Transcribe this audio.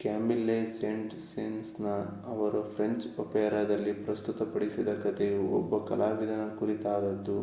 Camille Saint Saens ಅವರು French ಒಪೆರಾದಲ್ಲಿ ಪ್ರಸ್ತುತಪಡಿಸಿದ ಕಥೆಯು ಒಬ್ಬ ಕಲಾವಿದನ ಕುರಿತಾದದ್ದು